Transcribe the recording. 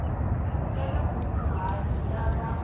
ya le kusuhani ya va